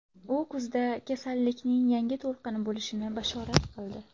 U kuzda kasallikning yangi to‘lqini bo‘lishini bashorat qildi.